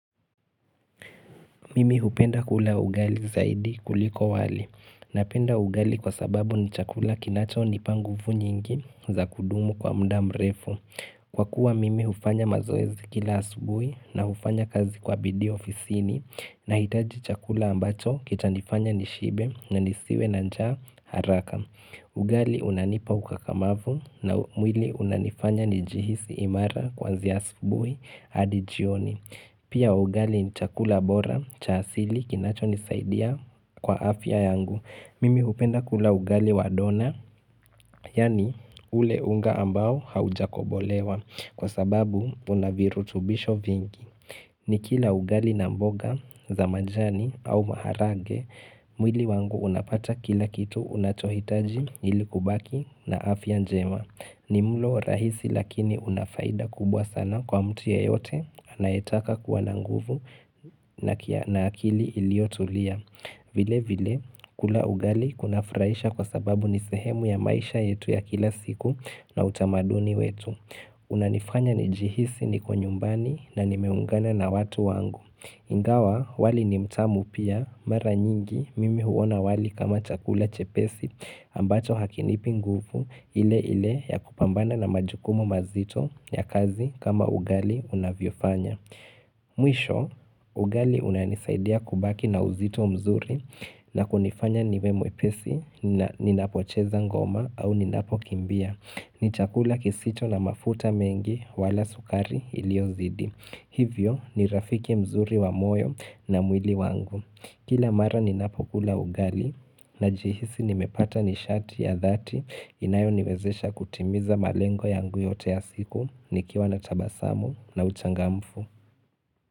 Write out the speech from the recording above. Mimi hupenda kula ugali zaidi kuliko wali. Napenda ugali kwa sababu ni chakula kinacho nipanguvu nyingi za kudumu kwa muda mrefu. Kwa kuwa mimi hufanya mazoezikila asubuhi na hufanya kazi kwa bidi ofisini na hitaji chakula ambacho kitanifanya nishibe na nisiwe na njaa haraka. Ugali unanipa ukakamavu na mwili unanifanya njihisi imara kwanzia asubuhi hadi jioni. Pia ugali chakula bora chasili kinacho nisaidia kwa afya yangu. Mimi hupenda kula ugali wadona, yaani ule unga ambao haujakobolewa kwa sababu unavirutubisho vingi. Ni kila ugali na mboga, zamajani au maharage, mwili wangu unapata kila kitu unachohitaji ilikubaki na afya njema. Ni mlo rahisi lakini unafaida kubwa sana kwa mtu yeyote, anayetaka kuwa nanguvu na akili iliotulia. Vile vile, kula ugali kunafurahisha kwa sababu nisehemu ya maisha yetu ya kila siku na utamaduni wetu. Una nifanya ni jihisi ni kwenyumbani na nimeungana na watu wangu Ingawa wali ni mtamu pia mara nyingi mimi huona wali kama chakula chepesi ambacho hakinipi nguvu ile ile ya kupambana na majukumo mazito ya kazi kama ugali unavyo fanya Mwisho ugali unanisaidia kubaki na uzito mzuri na kunifanya nimemwe pesi ni napocheza ngoma au ni napo kimbia ni chakula kisicho na mafuta mengi wala sukari iliyo zidi. Hivyo ni rafiki mzuri wa moyo na mwili wangu. Kila mara ni napokula ugali na jihisi nimepata nishati ya dhati inayo niwezesha kutimiza malengo yangu yote ya siku nikiwa na tabasamu na uchangamfu.